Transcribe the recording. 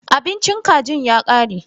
Abincin kajin ya kare.